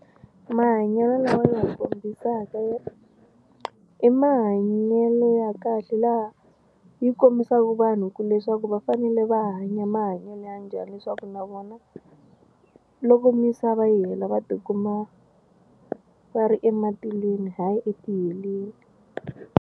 Mahanyelo lawa ya kombisaka yi i mahanyelo ya kahle laha yi kombisaka vanhu ku leswaku va fanele va hanya mahanyelo ya njhani leswaku na vona loko misava yi hela va tikuma va ri ematilweni hayi etiheleni.